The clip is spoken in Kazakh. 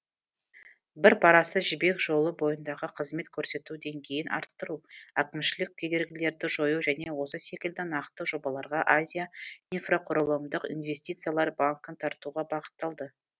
бір парасы жібек жолы бойындағы қызмет көрсету деңгейін арттыру әкімшілік кедергілерді жою және осы секілді нақты жобаларға азия инфрақұрылымдық инвестициялар банкін тартуға бағытталды